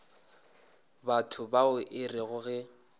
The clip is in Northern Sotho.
batho bao e rego ge